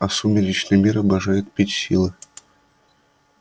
а сумеречный мир обожает пить силы